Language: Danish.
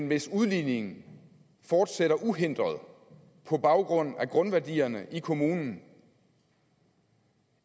hvis udligningen fortsætter uhindret på baggrund af grundværdierne i kommunen